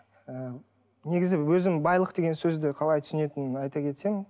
ы негізі өзім байлық деген сөзді қалай түсінетінімді айта кетсем